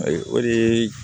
Ayi o de ye